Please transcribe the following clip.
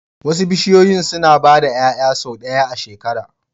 Wasu bishiyoyi suna ba da 'ya'ya sau ɗaya a shekara